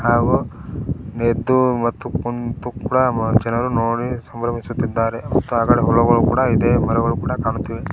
ಹಾಗೂ ಎದ್ದು ಮತ್ತು ಕುಂತು ಕುಳ ಕೆಲವರು ನೋಡಿ ಸಂಭ್ರಮಿಸುತಿದ್ದಾರೆ ಕೆಳಗಡೆ ಹುಳಗಳು ಕೂಡ ಇದೆ ಮರಗಳು ಕೂಡ ಕಾಣ್ತಾ ಇವೆ.